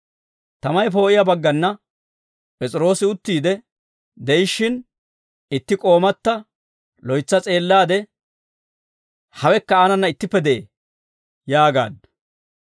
Tamay poo'iyaa baggana P'es'iroosi uttiide de'ishshin, itti k'oomata loytsa s'eellaade, «Hawekka aanana ittippe de'ee» yaagaaddu.